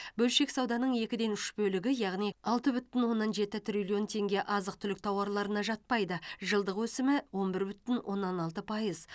бөлшек сауданың екіден үш бөлігі яғни алты бүтін оннан жеті триллион теңге азық түлік тауарларына жатпайды жылдық өсімі он бір бүтін оннан алты пайыз